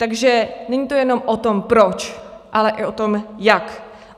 Takže není to jenom o tom proč, ale i o tom jak.